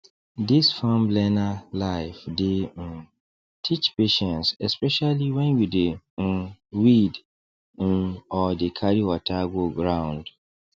this farm learner life dey um teach patience especially when you dey um weed um or dey carry water go round